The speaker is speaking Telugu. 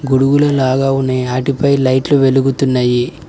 గొడుగుల లాగా ఉన్నయి ఆటిపై లైట్లు వెలుగుతున్నయి.